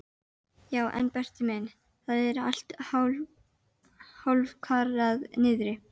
Já en Berti minn, það er allt hálfkarað niðri.